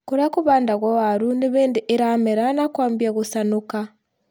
Kũrĩa kũhandagwo waru nĩhĩndi iramera na kwambia gũcanũka